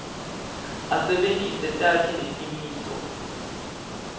asebentise takhi netimiso